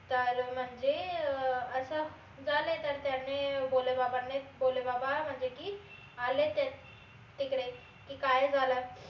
तर म्हनजे अं अस झालय तर त्याने भोले बाबाने भोले बाबा म्हनजे की आले तिकडे की काय झालं